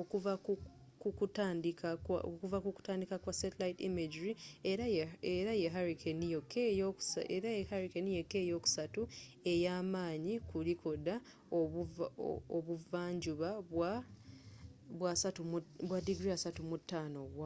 okuva ku kutandika kwa satellite imagery era ye hurricane yokka eyokusatu eyamaanyi ku likodi ebuva njuba obwa 35 °w